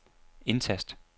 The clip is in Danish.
indtast